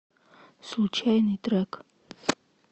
случайный трек